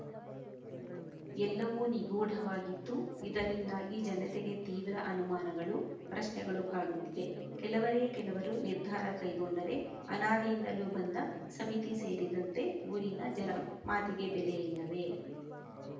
ಎಲ್ಲವೂ ನಿಗೂಢವಾಗಿದ್ದು ಇದರಿಂದಾಗಿ ಜನತೆಗೆ ತೀವ್ರ ಅನುಮಾನಗಳು ಪ್ರಶ್ನೆಗಳು ಕಾಡುತ್ತಿದೆ ಕೆಲವರೇ ಕೆಲವರು ನಿರ್ಧಾರ ಕೈಗೊಂಡರೆ ಅನಾದಿಯಿಂದಲೂ ಬಂದ ಸಮಿತಿ ಸೇರಿದಂತೆ ಊರಿನ ಜನರ ಮಾತಿಗೆ ಬೆಲೆ ಇಲ್ಲವೇ